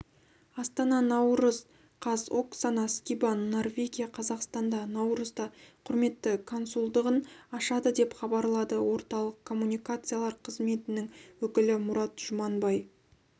астана наурыз қаз оксана скибан норвегия қазақстанда наурызда құрметті консулдығын ашады деп хабарлады орталық коммуникациялар қызметінің өкілі мұрат жұманбай